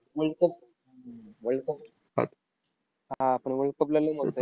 World cup world cup हा, पण world cup ला लय मज्जा येईल.